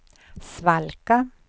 svalka